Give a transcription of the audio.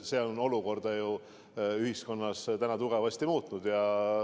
See kõik on olukorda ühiskonnas tugevasti muutnud.